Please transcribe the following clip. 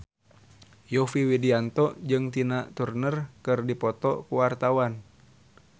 Yovie Widianto jeung Tina Turner keur dipoto ku wartawan